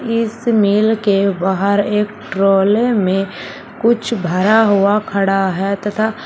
इस मील के बाहर एक ट्रोले में कुछ भरा हुआ खड़ा है तथा--